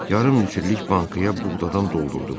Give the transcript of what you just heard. Yarım illik bankaya buğdadan doldurdum.